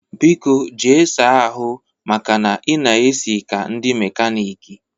Biko jee saa ahụ maka na ị na-eshi ka ndị mekaniiki!